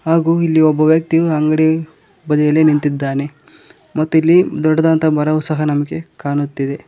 ಹಾಗು ಇಲ್ಲಿ ಒಬ್ಬ ವ್ಯಕ್ತಿಯು ಅಂಗಡಿ ಬದಿಯಲ್ಲಿ ನಿಂತಿದ್ದಾನೆ ಮತ್ತು ಇಲ್ಲಿ ದೊಡ್ಡದಾಂತ ಮರವು ಸಹ ನಮ್ಗೆ ಕಾಣುತ್ತಿದೆ.